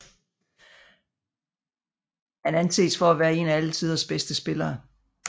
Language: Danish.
Han anses for at være en af alle tiders bedste spillere